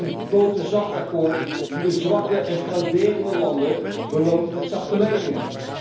Het is een boterzacht akkoord dat de zwakke en frauderende landen beloont met zachte leningen.